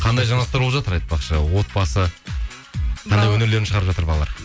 қандай жаңалықтар болып жатыр айтпақшы отбасы қандай өнерлерін шығарып жатыр балалар